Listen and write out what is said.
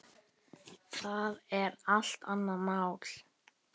Það er allt annað mál.